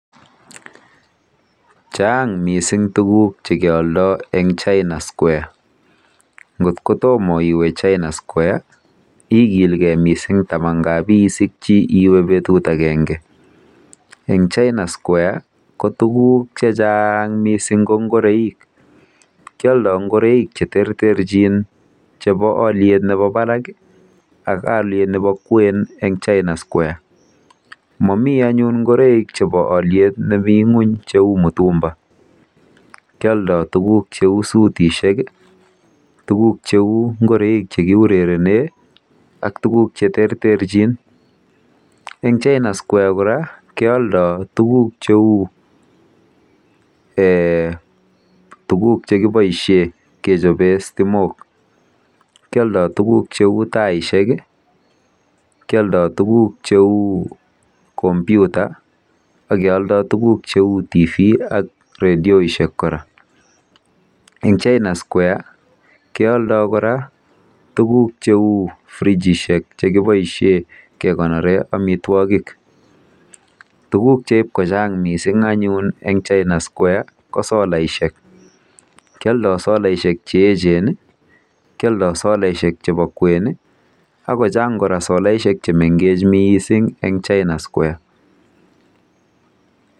Chang